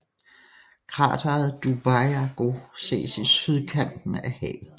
Krateret Dubyago ses i sydkanten af havet